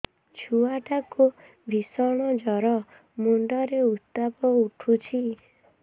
ଛୁଆ ଟା କୁ ଭିଷଣ ଜର ମୁଣ୍ଡ ରେ ଉତ୍ତାପ ଉଠୁଛି